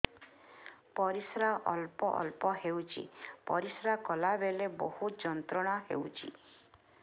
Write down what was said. ପରିଶ୍ରା ଅଳ୍ପ ଅଳ୍ପ ହେଉଛି ପରିଶ୍ରା କଲା ବେଳେ ବହୁତ ଯନ୍ତ୍ରଣା ହେଉଛି